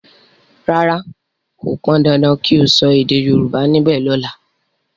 ràrá kò pọn dandan kí o so èdè yorùbá nibe lola!